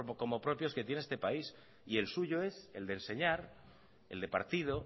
como propios que tiene este país y el suyo es el de enseñar el de partido